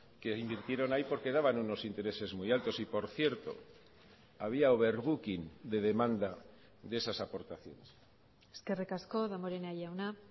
que invirtieron ahí porque daban unos intereses muy altos y por cierto había overbooking de demanda de esas aportaciones eskerrik asko damborenea jauna